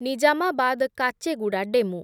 Nizamabad Kacheguda DEMU